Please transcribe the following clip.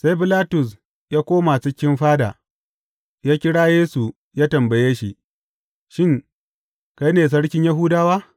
Sai Bilatus ya koma cikin fada, ya kira Yesu ya tambaye shi, Shin, kai ne sarkin Yahudawa?